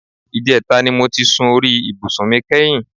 Ìjẹta ni mo ti sun orí ibùsùn mi kẹ́yìn